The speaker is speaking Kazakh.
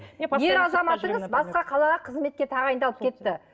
басқа қалаға қызметке тағайындалып кетті